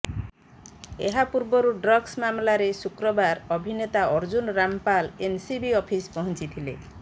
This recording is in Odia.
ଏହା ପୂର୍ବରୁ ଡ୍ରଗ୍ସ ମାମଲାରେ ଶୁକ୍ରବାର ଅଭିନେତା ଅର୍ଜୁନ ରାମପାଲ ଏନସିବି ଅଫିସ୍ ପହଞ୍ଚିଥିଲେ